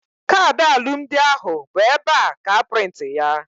Kaadị alụmdi ahụ bụ ebea ka a prịntị ya